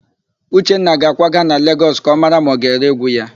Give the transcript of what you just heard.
Uchenna ga-akwaga na Legọs ka ọ mara ma ọ ga-ere égwú ya.